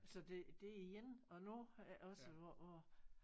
Så så det det er en og nu også hvor hvor